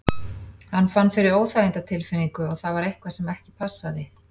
Hann fann fyrir óþægindatilfinningu og það var eitthvað sem ekki passaði.